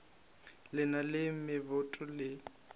le na le meboto le